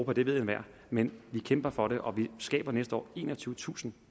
det ved enhver men vi kæmper for det og vi skaber næste år enogtyvetusind